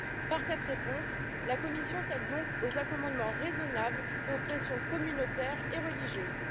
Par cette réponse, la Commission cède donc aux accommodements raisonnables et aux pressions communautaires et religieuses.